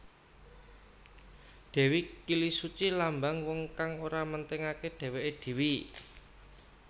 Dewi Kilisuci lambang wong kang ora mentingaké dhéwéké dhéwé